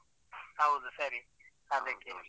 ಹೌದು ಸರಿ ಅದಿಕ್ಕೆ.